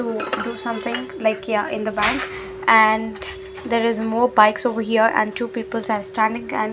do do something like ya in the bank and there is more bikes of hear and two peoples are standing and--